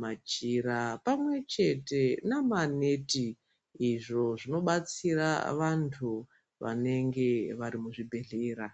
majira pamwe chete namaneti izvo zvinobatsira vantu vanenge vari muzvibhehlera.